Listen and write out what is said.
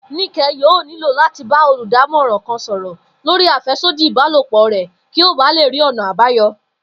Níke̩ yóò nílò láti ba olùdámo̩ràn kan sò̩rò̩ lórí àfé̩sódì ìbálòpò rè̩ kí ó ba lè rí ò̩nà àbáyo̩